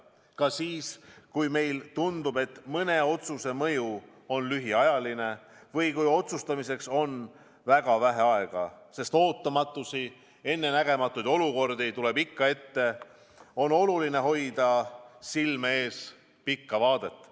Ka siis, kui meile tundub, et mõne otsuse mõju on lühiajaline või kui otsustamiseks on väga vähe aega – ootamatusi, ennenägematuid olukordi tuleb ikka ette –, on oluline hoida silme ees pikka vaadet.